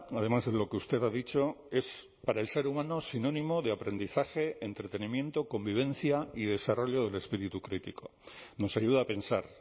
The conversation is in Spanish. además de lo que usted ha dicho es para el ser humano sinónimo de aprendizaje entretenimiento convivencia y desarrollo del espíritu crítico nos ayuda a pensar